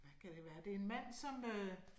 Hvad kan det være? Det en mand som øh